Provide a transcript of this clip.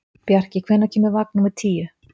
Bjarki, hvenær kemur vagn númer tíu?